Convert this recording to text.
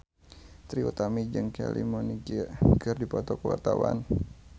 Trie Utami jeung Kylie Minogue keur dipoto ku wartawan